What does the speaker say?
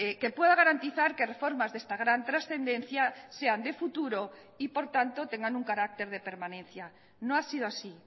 que pueda garantizar que reformas de esta gran trascendencia sean de futuro y por tanto tengan un carácter de permanencia no ha sido así